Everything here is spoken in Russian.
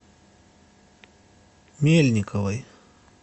мельниковой